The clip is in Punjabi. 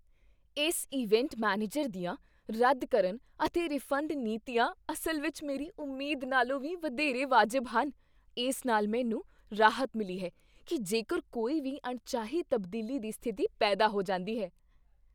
ਇਸ ਇਵੈਂਟ ਮੈਨੇਜਰ ਦੀਆਂ ਰੱਦ ਕਰਨ ਅਤੇ ਰਿਫੰਡ ਨੀਤੀਆਂ ਅਸਲ ਵਿੱਚ ਮੇਰੀ ਉਮੀਦ ਨਾਲੋਂ ਵੀ ਵਧੇਰੇ ਵਾਜਬ ਹਨ ਇਸ ਨਾਲ ਮੈਨੂੰ ਰਾਹਤ ਮਿਲੀ ਹੈ ਕੀ ਜੇਕਰ ਕੋਈ ਵੀ ਅਣਚਾਹੀ ਤਬਦੀਲੀ ਦੀ ਸਥਿਤੀ ਪੈਦਾ ਹੋ ਜਾਂਦੀ ਹੈ I